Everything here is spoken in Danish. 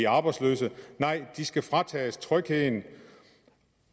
arbejdsløse nej de skal fratages trygheden